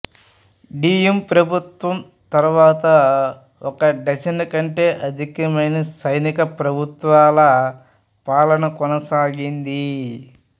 డీయిం ప్రభుత్వం తరువాత ఒక డజన్ కంటే అధికమైన సైనిక ప్రభుత్వాల పాలన కొనసాగింది